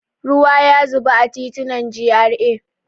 Ruwa ya zuba a titunan GRA.